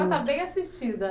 bem assistida